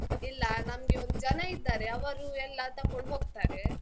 ಇಲ್ಲ, ನಮ್ಗೆ ಒಂದು ಜನ ಇದ್ದಾರೆ, ಅವರು ಎಲ್ಲ ತಕೊಂಡು ಹೋಗ್ತಾರೆ.